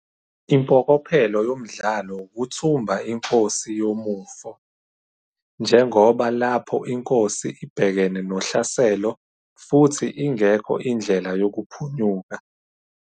Impokophelo yomdlalo ukuthumba inkosi yomufo, njengoba lapho inkosi ibhekene nohlaselo futhi ingekho indlela yokuohunyuka.